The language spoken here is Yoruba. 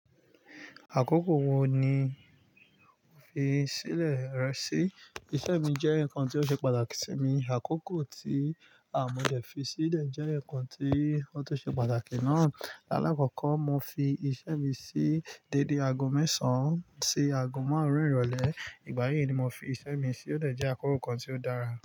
Àkókò wo ni o fi sílẹ̀ rẹ sí? Iṣẹ́ mi jẹ́ ǹkan tó ṣe pàtàkì sí mi. Àkókò tí mọ́ dẹ̀ fi sílẹ̀ jẹ́ ǹkan ti o tu ṣe pàtàkì náà. Alákọ́kọ́, mo fi iṣẹ́ mi sí dédé aago mẹ́sàn-án sí aago márùn-ún ìrọ̀lẹ́. Ìgbà yí ni mo fi iṣẹ́ mi sí. Ó dẹ̀ jẹ́ àkókò kan tí ó dára.